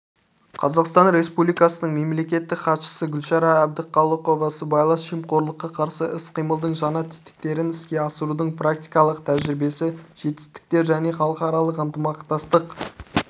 қазақстан республикасының мемлекеттік хатшысы гүлшара әбдіқалықова сыбайлас жемқорлыққа қарсы іс-қимылдың жаңа тетіктерін іске асырудың практикалық тәжірибесі жетістіктер және халықаралық ынтымақтастық